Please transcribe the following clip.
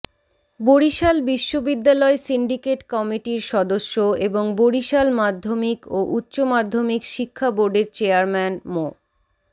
বরিশাল বিশ্ববিদ্যালয় সিন্ডিকেট কমিটির সদস্য এবং বরিশাল মাধ্যমিক ও উচ্চ মাধ্যমিক শিক্ষা বোর্ডের চেয়ারম্যান মো